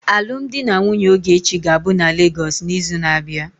Alụmdi na nwunye Ogechi ga-abụ na Lagos n'izu na-abịa.